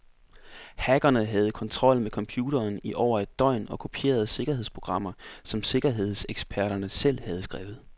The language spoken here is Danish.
Hackerne havde kontrol med computeren i over et døgn og kopierede sikkerhedsprogrammer, som sikkerhedseksperten selv havde skrevet.